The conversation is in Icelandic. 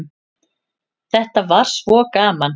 Þetta var svo gaman.